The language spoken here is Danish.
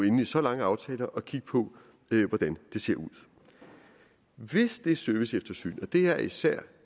inde i så lange aftaler og kigge på hvordan det ser ud hvis det serviceeftersyn og det er især